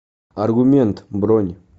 аргумент бронь